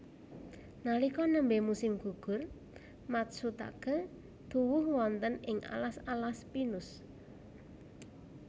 Nalika nembé musim gugur matsutaké tuwuh wonten ing alas alas pinus